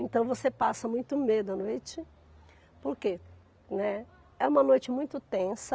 Então, você passa muito medo à noite, porque, né, é uma noite muito tensa.